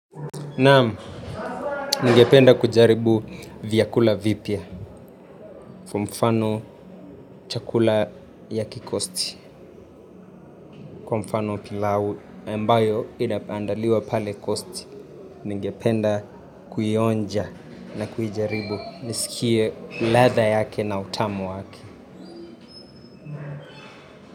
Naamu, ninge penda kujaribu vyakula vipya kwa mfano chakula ya kikosti, kwa mfano pilawu, mbayo inaandaliwa pale kosti, ninge penda kuionja na kujaribu nisikie ladha yake na utamu yake.